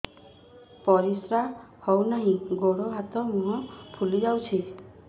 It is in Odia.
ପରିସ୍ରା ହଉ ନାହିଁ ଗୋଡ଼ ହାତ ମୁହଁ ଫୁଲି ଯାଉଛି